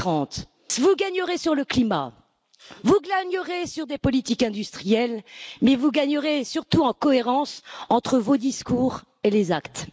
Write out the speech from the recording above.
2030? Vous gagnerez sur le climat, vous gagnerez sur les politiques industrielles, mais vous gagnerez surtout en cohérence entre vos discours et vos actes.